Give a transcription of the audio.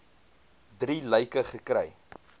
drie lyke gekry